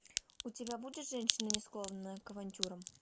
у тебя будет женщина не склонная к авантюрам